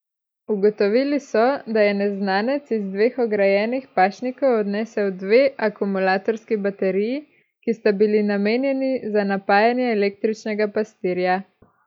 Ugotovili so, da je neznanec iz dveh ograjenih pašnikov odnesel dve akumulatorski bateriji, ki sta bili namenjeni za napajanje električnega pastirja.